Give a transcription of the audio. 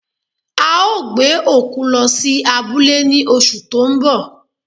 A o gbe òkú lo̩ si abúlé ni oṣù to n bọ̀